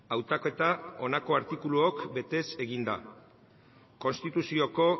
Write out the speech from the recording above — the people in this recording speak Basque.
hautaketa honako artikuluok betez egin da konstituzioko